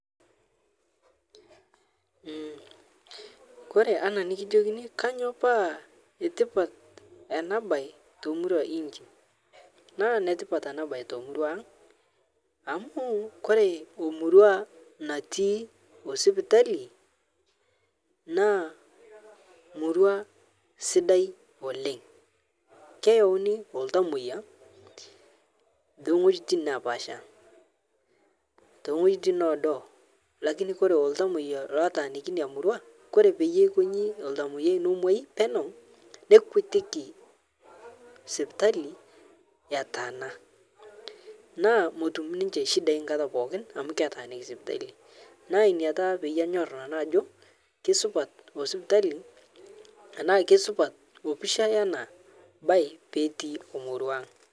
Ore emurua natii sipitali naa sidai amu keyauni iltomoyia naa kesidai oleng amu, ore iltamoyia leina murua naa ketum ebaare esidai, neeku menyamalu lelo tunganak katukul